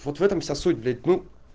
вот в этом вся суть блять ну